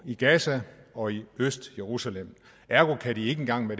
i gaza og i østjerusalem ergo kan de ikke engang når